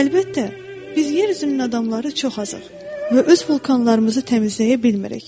Əlbəttə, biz yer üzünün adamları çox azıq və öz vulkanlarımızı təmizləyə bilmirik.